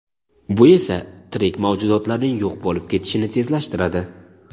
bu esa tirik mavjudotlarning yo‘q bo‘lib ketishini tezlashtiradi.